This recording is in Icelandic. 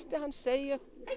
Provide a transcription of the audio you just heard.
að hann segir